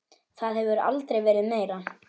Það hefur aldrei verið meira.